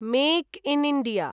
make in India